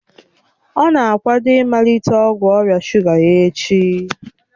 Ọ na-akwado ịmalite ọgwụ ọrịa shuga ya echi